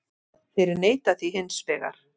Þeir neita því hins vegar